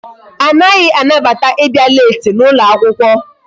Anaghị anabata ịbịa leeti n'ụlọ akwụkwọ.